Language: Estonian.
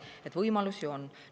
Nii et võimalusi on.